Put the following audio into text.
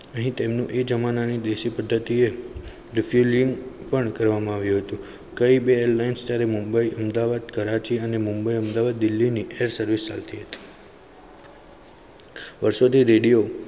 અહીં તેમનું એ જમાનાની દેશી પદ્ધતિ refilling પણ કરવામાં આવ્યું હતું. કઈ બે air lines સ્તરે મુંબઈ, અમદાવાદ કરાચી અને મુંબઈ અમદાવાદ દિલ્હીની train service વર્ષો થી રેડિયો.